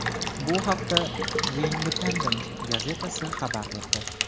Bu haqda The Independent gazetasi xabar berdi .